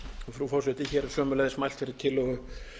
frú forseti hér er sömuleiðis mælt fyrir tillögu